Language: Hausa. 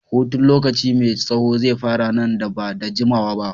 Hutun lokaci mai tsaho zai fara nan da ba da jimawa ba.